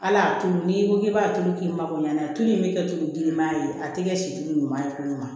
Ala y'a tulu n'i ko k'i b'a tulu k'i mako ɲɛna tulu in bɛ kɛ tulu grinman ye a tɛ kɛ si ɲuman ye kalo ma